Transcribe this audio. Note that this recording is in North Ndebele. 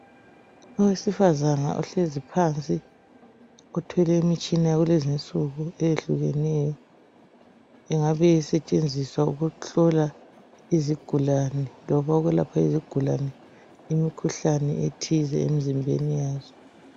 Owesifazana ohlezi phansi othwele imitshina yakulezi insuku eyehlukeneyo engabe isetshenziswa ukuhlola izigulane, loba ukwelapha izigulane imikhuhlane ethize emzimbeni yazo.